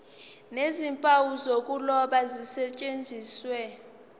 nezimpawu zokuloba zisetshenziswe